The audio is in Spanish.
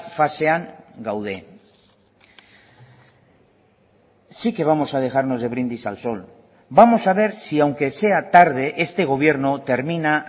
fasean gaude sí que vamos a dejarnos de brindis al sol vamos a ver si aunque sea tarde este gobierno termina